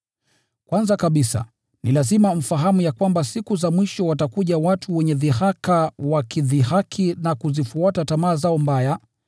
Kwanza kabisa, ni lazima mfahamu ya kwamba siku za mwisho watakuja watu wenye dhihaka, wakidhihaki na kuzifuata tamaa zao mbaya.